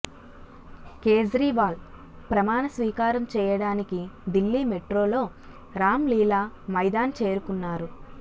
కేజ్రీవాల్ ప్రమాణ స్వీకారం చేయడానికి దిల్లీ మెట్రోలో రాంలీలా మైదాన్ చేరుకున్నారు